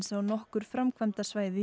á nokkur framkvæmdasvæði í